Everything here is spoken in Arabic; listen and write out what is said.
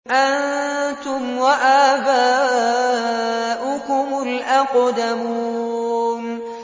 أَنتُمْ وَآبَاؤُكُمُ الْأَقْدَمُونَ